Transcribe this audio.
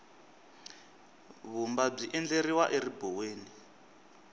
vumba byi endleriwa eribuweni